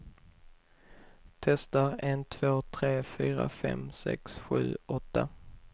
Testar en två tre fyra fem sex sju åtta.